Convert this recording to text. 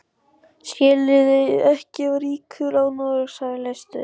Skiljið þið ekki að ríkisráð Noregs hefur verið leyst upp!